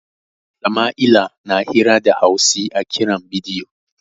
Sama'ila na hira da Hausi a kiran bidiyo.